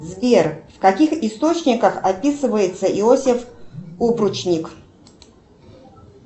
сбер в каких источниках описывается иосиф упручник